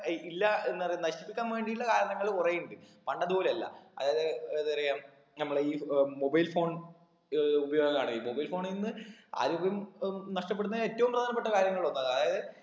ഈ ഇല്ല എന്നറിന്ന നശിപ്പിക്കാൻ വേണ്ടിട്ടുള്ള കാരണങ്ങൾ കുറേ ഇണ്ട് പണ്ടത് പോലെ അല്ല അതായത് ഏതപറയാം നമ്മുടെ ഈ ഏർ mobile phone ഏർ ഉപയോഗാണ് ഈ mobile phone ഇന്ന് ആരോഗ്യം ഏർ നഷ്ട്ടപ്പെടുന്ന ഏറ്റവും പ്രധാനപ്പെട്ട കാര്യങ്ങളിൽ ഒന്നാണ് അതായത്